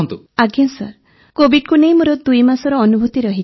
ଭାବନା ଆଜ୍ଞା କୋଭିଡ୍କୁ ନେଇ ମୋର ଦୁଇମାସର ଅନୁଭୂତି ରହିଛି